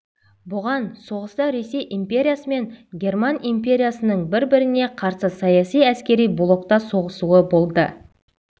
бұған соғыста ресей империясы мен герман империясының бір-біріне қарсы саяси-әскери блокта соғысуы болды